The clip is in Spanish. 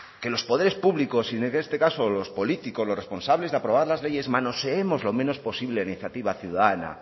que los poderes públicos y en este caso los políticos los responsables de aprobar las leyes manoseemos lo menos posible la iniciativa ciudadana